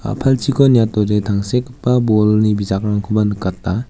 a·palchiko niatode tangsekgipa bolni bijakrangkoba nikata.